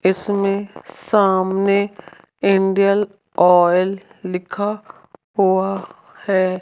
इसमें सामने Indian Oil लिखा हुआ है।